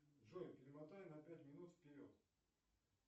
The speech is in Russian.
джой перемотай на пять минут вперед